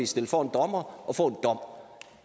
stillet for en dommer og få en dom